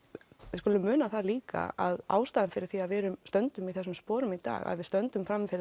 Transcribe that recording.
við skulum muna það líka að ástæðan fyrir því að við stöndum í þessum sporum í dag að við stöndum frammi fyrir